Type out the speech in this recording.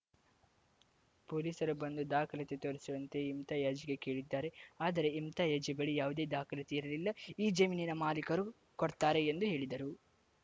ಪೊಲೀಸರು ಬಂದು ದಾಖಲಾತಿ ತೋರಿಸುವಂತೆ ಇಮ್ತಿಯಾಜ್‌ಗೆ ಕೇಳಿದ್ದಾರೆ ಆದರೆ ಇಮ್ತಿಯಾಜ್‌ ಬಳಿ ಯಾವುದೇ ದಾಖಲಾತಿ ಇರಲಿಲ್ಲ ಈ ಜಮೀನಿನ ಮಾಲೀಕರು ಕೊಡ್ತಾರೆ ಎಂದು ಹೇಳಿದರು